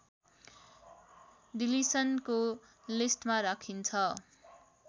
डिलिसनको लिस्टमा राखिन्छ